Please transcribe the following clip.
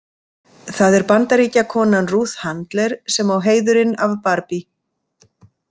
Það er Bandaríkjakonan Ruth Handler sem á heiðurinn af Barbie.